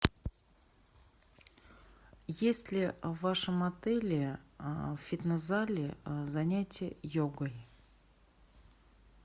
есть ли в вашем отеле в фитнес зале занятия йогой